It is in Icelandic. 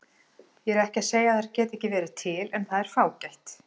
Ég er ekki að segja að þær geti ekki verið til en það er fágætt.